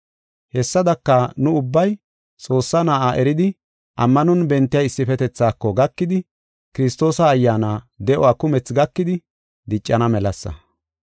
Hessadaka, nu ubbay Xoossaa Na7aa eridi ammanon bentiya issifetethaako gakidi, Kiristoosa ayyaana de7uwa kumethi gakidi diccana melasa.